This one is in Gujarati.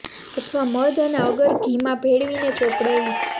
અથવા મધ અને અગર ઘી માં ભેળવી ને ચોપડવી